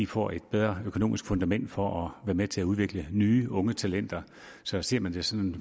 får et bedre økonomisk fundament for at være med til at udvikle nye unge talenter så ser man det sådan